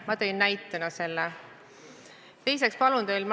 Ma tõin selle näiteks.